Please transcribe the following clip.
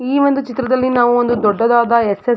ಈ ಒಂದು ಚಿತ್ರದಲ್ಲಿ ನಾವು ಒಂದು ದೊಡ್ಡದಾದ ಎಕ್ಸ್ ಯಸ್ --